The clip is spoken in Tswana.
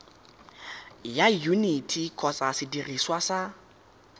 ya yuniti kgotsa sediriswa sa